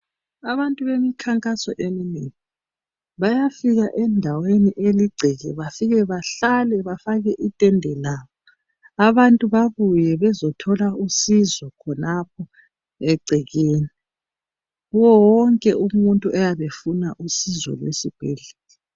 Abantu bemkhankaso eminengi. Bayafika endaweni eligceke. Bafike bahlale, bafake itende labo. Abantu babuye bafike bathole usizo, khonapho egcekeni. Kuye wonke umuntu oyabe efuna usizo lwesibhedlela.